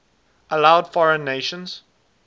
allowed foreign nations